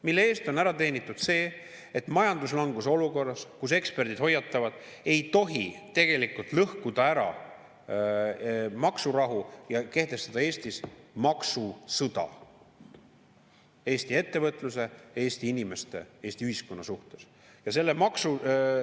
Mille eest on ära teenitud see, et majanduslanguse olukorras, kus eksperdid hoiatavad, et ei tohi tegelikult lõhkuda ära maksurahu ja kehtestada maksusõda Eesti ettevõtluse, Eesti inimeste, Eesti ühiskonna suhtes?